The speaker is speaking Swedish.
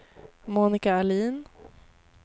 Monika Ahlin